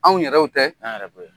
Anw yɛrɛw tɛ? Anw yɛrɛw